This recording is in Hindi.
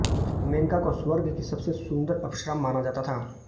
मेनका को स्वर्ग की सबसे सुन्दर अप्सरा माना जाता था